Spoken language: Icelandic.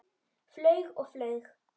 Flaug og flaug.